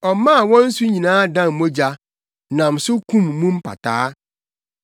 Ɔmaa wɔn nsu nyinaa dan mogya, nam so kum mu mpataa.